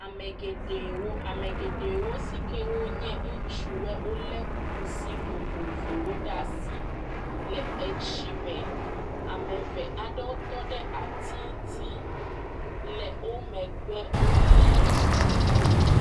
Ame geɖewo yiwo nye ŋutsuwoe, wolé kusi vovovowo ɖe asi le etsi me, ame eve aɖewo tɔ ɖe ati ŋuti le wo megbe, olé…